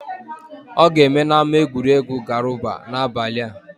Ọ ga-eme n'ámá egwuregwu Garuba n'abalị a.